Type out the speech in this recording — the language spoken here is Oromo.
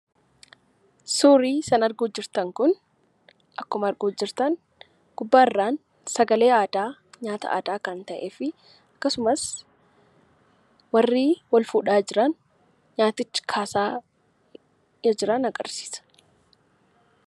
Suurri sin arguuf jirtan kun, akkuma arguuf jirtan gubbaarraan sagalee aadaa kan ta'ee fi akkasumas warri wal_fuudhaa jiran nyaaticha kaasaa jiran agarsiisa.